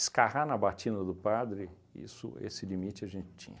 na batida do padre, isso esse limite a gente tinha.